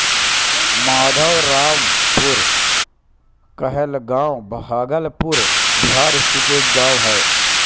माधोरामपुर कहलगाँव भागलपुर बिहार स्थित एक गाँव है